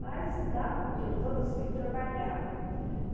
Mas dava, porque todos os filhos trabalhavam.